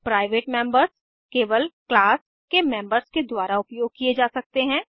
private members केवल class के members के द्वारा उपयोग किये जा सकते हैं